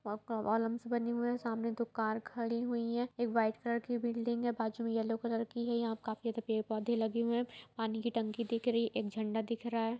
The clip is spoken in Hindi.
बने हुई है सामने दो कार खड़ी हुई है एक व्हाइट कलर की बिल्डिंग है बाजुमे मे येलो कलर की है यहां काफी ज्यादा पेड़-पौधे लगे हुए हैं पनि की टंकी रही है एक झंडा दिख रहा है।